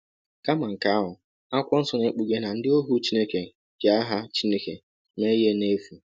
Kama nke ahụ, Akwụkwọ Nsọ na-ekpughe na ndị ohu Chineke ji aha Chineke mee ihe n'efu.